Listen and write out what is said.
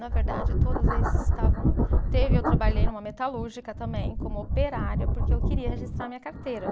Na verdade, todos esses estavam. Teve, eu trabalhei numa metalúrgica também, como operária, porque eu queria registrar minha carteira.